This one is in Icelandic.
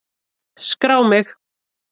Skrá mig!